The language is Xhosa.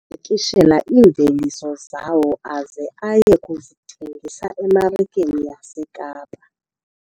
Ayezipakishela iimveliso zawo aze aye kuzithengisa emarikeni yaseKapa.